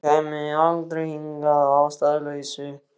Hún kæmi aldrei hingað að ástæðulausu.